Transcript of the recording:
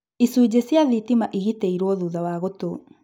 Icunjĩ cia thitima igitĩirwo thutha wa gũtũ